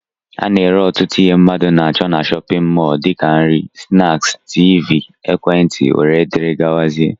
Ana ere ọtụtụ ihe mmadụ na-acho n'shóppin mol dika nri, snaaki, tiivii, ekwentị wdg.